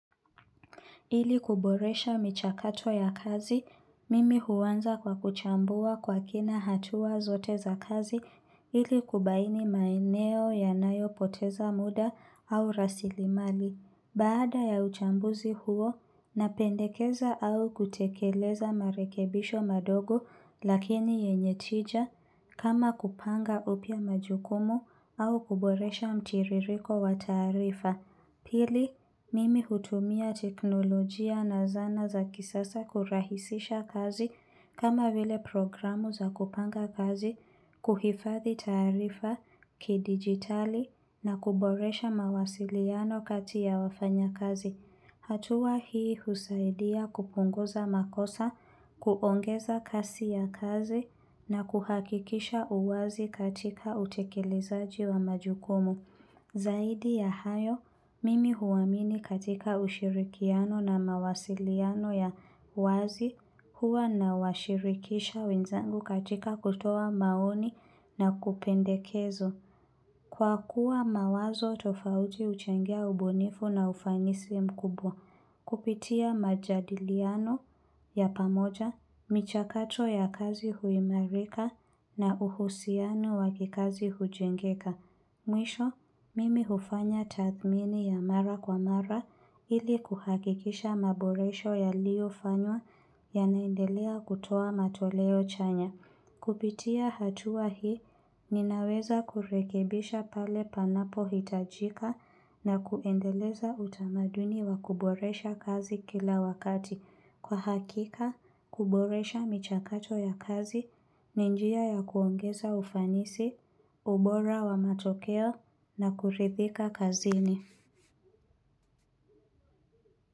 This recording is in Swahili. Ili kuboresha michakato ya kazi, mimi huanza kwa kuchambua kwa kina hatua zote za kazi ili kubaini maeneo ya nayo poteza muda au rasili mali. Baada ya uchambuzi huo, napendekeza au kutekeleza marekebisho madogo lakini yenye tija kama kupanga upya majukumu au kuboresha mtiririko wataarifa. Pili, mimi hutumia teknolojia na zana za kisasa kurahisisha kazi kama vile programu za kupanga kazi, kuhifathi taarifa, kidigitali na kuboresha mawasiliano kati ya wafanya kazi. Hatua hii husaidia kupunguza makosa, kuongeza kasi ya kazi na kuhakikisha uwazi katika utekelezaji wa majukumu. Zaidi ya hayo, mimi huamini katika ushirikiano na mawasiliano ya wazi huwa na washirikisha wenzangu katika kutoa maoni na kupendekezo. Kwa kuwa mawazo tofauti uchangia ubunifu na ufanisi mkubwa. Kupitia majadiliano ya pamoja, michakato ya kazi huimarika na uhusiano wakikazi hujengeka. Mwisho, mimi hufanya tathmini ya mara kwa mara ili kuhakikisha maboresho ya liyo fanywa ya naendelea kutoa matoleo chanya. Kupitia hatua hii, ninaweza kurekebisha pale panapo hitajika na kuendeleza utamaduni wa kuboresha kazi kila wakati. Kwa hakika, kuboresha michakacho ya kazi, ninjia ya kuongeza ufanisi, ubora wa matokeo na kuridhika kazini.